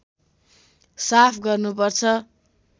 साफ गर्नु पर्छ